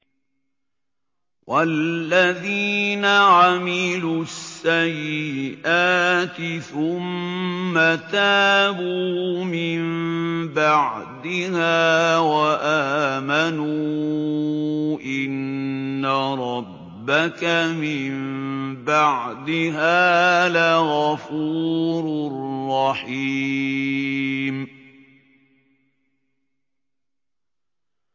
وَالَّذِينَ عَمِلُوا السَّيِّئَاتِ ثُمَّ تَابُوا مِن بَعْدِهَا وَآمَنُوا إِنَّ رَبَّكَ مِن بَعْدِهَا لَغَفُورٌ رَّحِيمٌ